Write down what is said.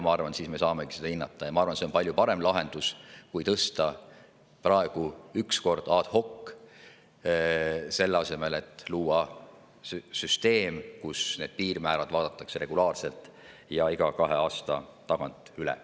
Ma arvan, et siis me saamegi seda hinnata, ja ma arvan, et see on palju parem lahendus kui tõsta praegu üks kord ad hoc, selle asemel et luua süsteem, mille alusel need piirmäärad vaadatakse regulaarselt iga kahe aasta tagant üle.